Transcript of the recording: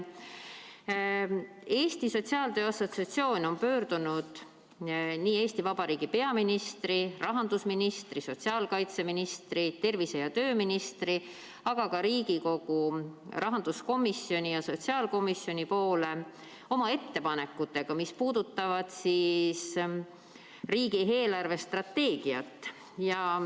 Eesti Sotsiaaltöö Assotsiatsioon on pöördunud nii Eesti Vabariigi peaministri, rahandusministri, sotsiaalkaitseministri, tervise- ja tööministri kui ka Riigikogu rahanduskomisjoni ja sotsiaalkomisjoni poole oma ettepanekutega, mis puudutavad riigi eelarvestrateegiat.